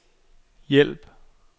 hjælp